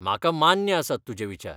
म्हाका मान्य आसात तुझे विचार.